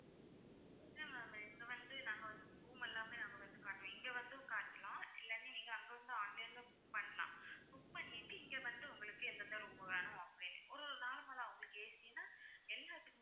இல்ல ma'am இங்க வந்து நாங்க வந்து room எல்லாமே நாங்க வந்து காட்டுறோம் இங்க வந்தும் காட்டலாம் இல்லாட்டி நீங்க அங்க வந்து online ல book பண்ணலாம் book பண்ணிட்டு இங்க வந்து உங்களுக்கு எந்தெந்த room வேணும் அப்படின்னு ஒரு normal ஆ உங்களுக்கு AC னா எல்லாத்துக்குமே